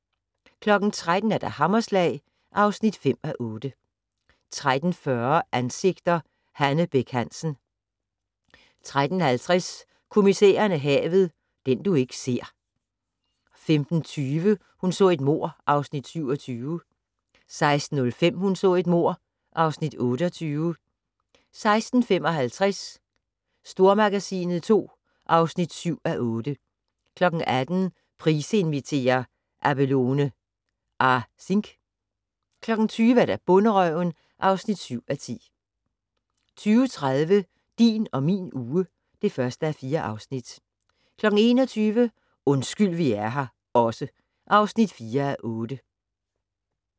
13:00: Hammerslag (5:8) 13:40: Ansigter: Hanne Bech Hansen 13:50: Kommissæren og havet: Den du ikke ser 15:20: Hun så et mord (Afs. 27) 16:05: Hun så et mord (Afs. 28) 16:55: Stormagasinet II (7:8) 18:00: Price inviterer - Abelone Asingh 20:00: Bonderøven (7:10) 20:30: Din og min uge (1:4) 21:00: Undskyld vi er her også (4:8)